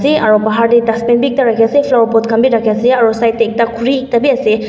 dae aro bahar dae dustbin bhi ekta rakhi ase flower pot khan bhi rakhi ase aro side dae ekta khuri ekta bhi ase.